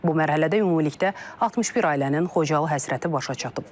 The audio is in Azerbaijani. Bu mərhələdə ümumilikdə 61 ailənin Xocalı həsrəti başa çatıb.